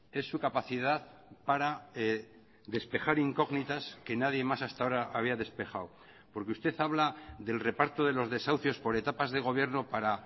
es su capacidad para despejar incógnitas que nadie más hasta ahora había despejado porque usted habla del reparto de los desahucios por etapas de gobierno para